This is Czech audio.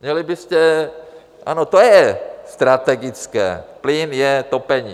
Měli byste, ano, to je strategické, plyn je topení.